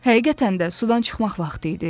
Həqiqətən də sudan çıxmaq vaxtı idi.